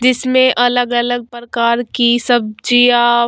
जिसमे अलग-अलग प्रकार की सब्जियां--